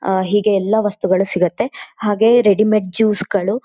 ಆಹ್ಹ್ ಹೀಗೆ ಎಲ್ಲ ವಸ್ತುಗಳು ಸಿಗುತ್ತೆ ಹಾಗೆ ರೆಡಿಮೇಡ್ ಜ್ಯೂಸ್ ಗಳು--